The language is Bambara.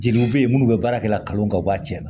Jeliw be ye minnu be baarakɛla kan u b'a cɛ la